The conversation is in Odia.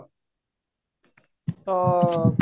ତ